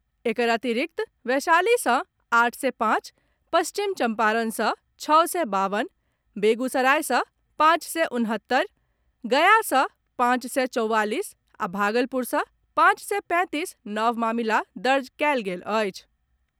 एकर अतिरिक्त वैशाली सँ आठ सय पांच, पश्चिम चम्पारण सँ छओ सय बावन, बेगूसराय सँ पांच सय उनहत्तरि, गया सँ पांच सय चौवालीस आ भागलपुर सँ पांच सय पैंतीस नव मामिला दर्ज कयल गेल अछि।